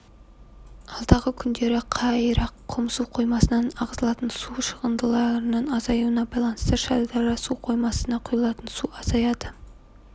алдағы күндері қайраққұм су қоймасынан ағызылатын су шығарындылардың азаюына байланысты шардара су қоймасмына құйылатын су азаяды